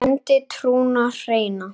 kenndi trúna hreina.